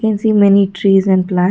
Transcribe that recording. so many trees and plants.